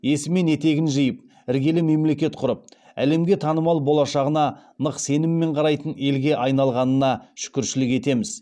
есі мен етегін жиып іргелі мемлекет құрып әлемге танымал болашағына нық сеніммен қарайтын елге айналғанына шүкіршілік етеміз